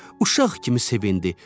Uşaq kimi sevindi,